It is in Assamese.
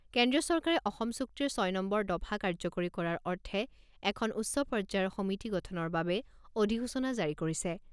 কেন্দ্ৰীয় চৰকাৰে অসম চুক্তিৰ ছয় নম্বৰ দফা কাৰ্যকৰী কৰাৰ অৰ্থে এখন উচ্চ পৰ্যায়ৰ সমিতি গঠনৰ বাবে অধিসূচনা জাৰি কৰিছে।